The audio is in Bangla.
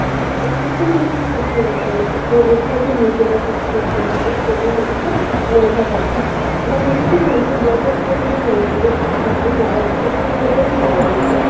তো এক্ষেত্রে কিন্তু শিক্ষা~ ও এ শিক্ষাব্যবস্থার একটু নীতি বাচক দিক দেখা যায় সেটি হচ্ছে, মেধা পাচার, বাংলাদেশে কিন্তু ব্যাপক পরিমাণ মেধাবী শিক্ষার্থী যারা উচ্চশিক্ষার জন্য বাইরে যায়